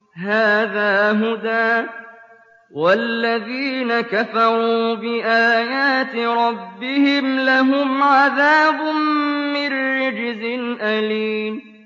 هَٰذَا هُدًى ۖ وَالَّذِينَ كَفَرُوا بِآيَاتِ رَبِّهِمْ لَهُمْ عَذَابٌ مِّن رِّجْزٍ أَلِيمٌ